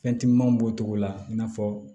Fɛn timinanw b'o cogo la i n'a fɔ